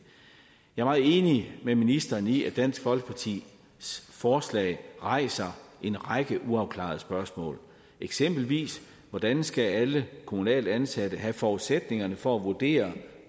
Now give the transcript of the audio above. jeg er meget enig med ministeren i at dansk folkepartis forslag rejser en række uafklarede spørgsmål eksempelvis hvordan skal alle kommunalt ansatte have forudsætningerne for at vurdere